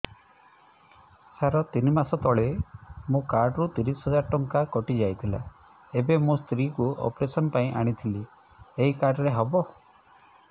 ସାର ତିନି ମାସ ତଳେ ମୋ କାର୍ଡ ରୁ ତିରିଶ ହଜାର ଟଙ୍କା କଟିଯାଇଥିଲା ଏବେ ମୋ ସ୍ତ୍ରୀ କୁ ଅପେରସନ ପାଇଁ ଆଣିଥିଲି ଏଇ କାର୍ଡ ରେ ହବ